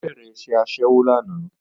Ó bẹ̀rẹ̀ iṣẹ́ Aṣẹ́wó lánàá